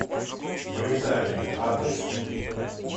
британия адрес